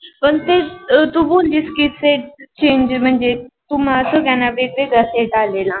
पण तेस तू बोलीस की set change म्हणजे तुमा सगळ्यांना वेगळा set आलेना.